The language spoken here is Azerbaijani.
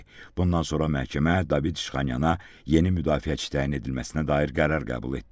Bundan sonra məhkəmə David İşxanyana yeni müdafiəçi təyin edilməsinə dair qərar qəbul etdi.